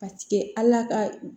Ka sigi ala ka